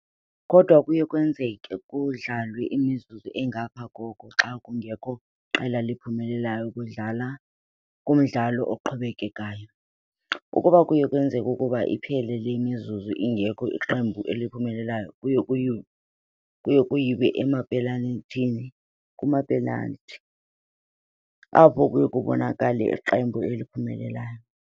Kodwa kuye kwenzeke kudlalwe imizuzu engapha koko xa kungekho qela liphumelelayo kumdlalo oqhubekekayo. Ukuba kuye kwenzeka ukuba iphele le mizuzu ingekho iqembu eliphumelelayo kuye kuyiwe emapenal'thini, apho kuye kubonakale iqembu eliphumelelayo.